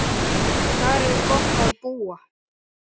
Þar er gott að búa.